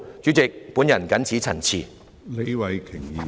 主席，我謹此陳辭。